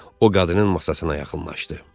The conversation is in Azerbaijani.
O qadının masasına yaxınlaşdı.